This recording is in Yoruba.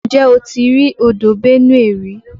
Ǹjẹ́ o ti rí odò Benue rí?